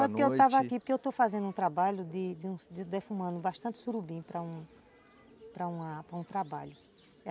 a Não, é porque eu estava aqui, porque eu estou fazendo um trabalho de de defumando bastante surubim para para um trabalho.